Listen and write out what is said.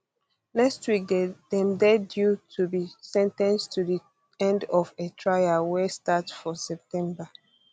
next week dem dey due to be sen ten ced at di end of a trial wey start for september